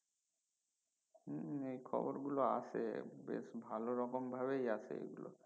উম এই খবর গুলো আসে বেশ ভালো রকম ভাবেই আসে এই গুলো